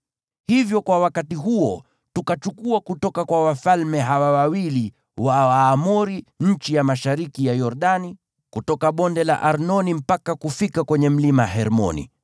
Hivyo kwa wakati huo tukachukua kutoka kwa wafalme hawa wawili wa Waamori nchi ya mashariki ya Yordani, kutoka Bonde la Arnoni mpaka kufika kwenye Mlima Hermoni.